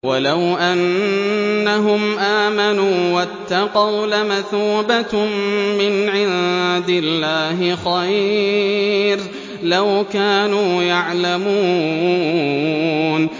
وَلَوْ أَنَّهُمْ آمَنُوا وَاتَّقَوْا لَمَثُوبَةٌ مِّنْ عِندِ اللَّهِ خَيْرٌ ۖ لَّوْ كَانُوا يَعْلَمُونَ